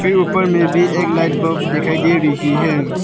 के उपर में भी एक लाइट बल्ब दिखाई दे रही है।